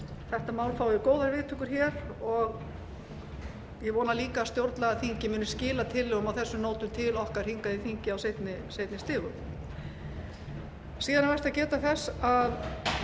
þetta mál fái góðar viðtökur hér og ég vona líka að stjórnlagaþingið muni skila tillögum á þessum nótum til okkar hingað í þingið á seinni stigum síðan er vert að geta þess að